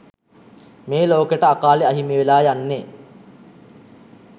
මේ ලෝකෙට අකාලෙ අහිමිවෙලා යන්නෙ